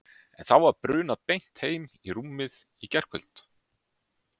En var þá brunað beint heim í rúmið í gærkvöld?